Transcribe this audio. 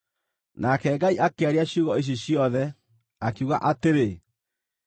Nake Ngai akĩaria ciugo ici ciothe, akiuga atĩrĩ: